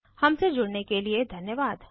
हमसे जुड़ने के लिए धन्यवाद